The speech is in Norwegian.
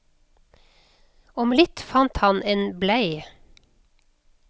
Om litt fant han en blei.